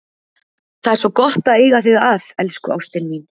Það er svo gott að eiga þig að, elsku ástin mín.